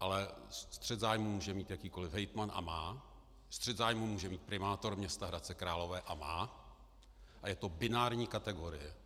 ale střet zájmů může mít jakýkoli hejtman, a má, střet zájmů může mít primátor města Hradce Králové, a má, a je to binární kategorie.